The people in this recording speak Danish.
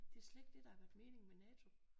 Det er slet ikke det der har været meningen med NATO